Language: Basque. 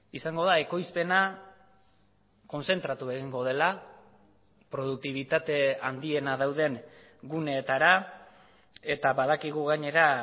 izango da ekoizpena kontzentratu egingo dela produktibitate handiena dauden guneetara eta badakigu gainera